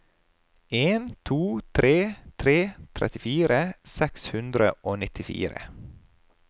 en to tre tre trettifire seks hundre og nittifire